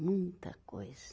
Muita coisa.